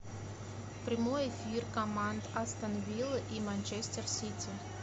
прямой эфир команд астон вилла и манчестер сити